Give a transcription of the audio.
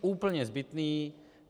Úplně zbytný.